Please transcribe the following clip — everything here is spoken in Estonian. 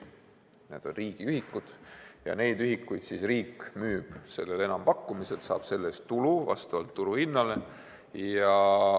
Need on riigiühikud ja neid ühikuid müüb riik enampakkumisel ning saab selle eest tulu vastavalt turuhinnale.